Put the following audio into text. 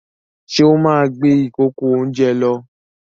Ṣé ó máa gbé ìkòkò-oúnjẹ lọ?